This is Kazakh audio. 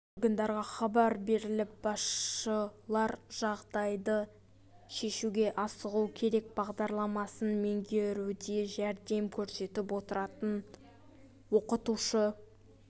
органдарға хабар беріліп басшылар жағдайды шешуге асығу керек бағдарламасын меңгеруде жәрдем көрсетіп отыратын оқытушы